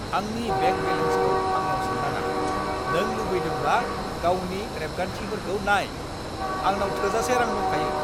आंनि बेंक बेलेन्सखौ आंनाव सोंनाङा! नों लुबैदोंब्ला गावनि रेबगान्थिफोरखौ नाय। आंनाव थोजासे रां दंखायो।